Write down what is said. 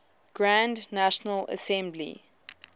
grand national assembly